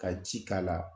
Ka ji k'a la